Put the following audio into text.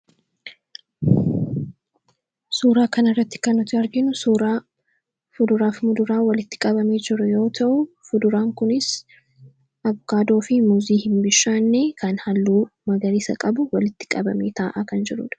Suuraa kanarratti kan nuti arginu suuraa fuduraa fi muduraa walitti qabamee jiru yoo ta'u, fuduraan kunis avokaadoo fi muuzii hin bishaanne kan halluu magariisa qabu walitti qabamee taa'aa kan jirudha.